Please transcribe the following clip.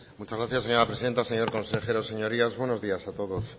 muchas gracias señora presidenta señor consejero señorías buenos días a todos